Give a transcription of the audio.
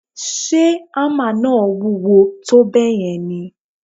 Ṣe hámà náà wúwo tó bẹ́ẹ̀ yẹn ni?